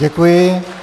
Děkuji.